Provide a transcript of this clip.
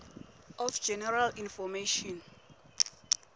of general information